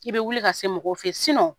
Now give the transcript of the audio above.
I bɛ wuli ka se mɔgɔw fɛ yen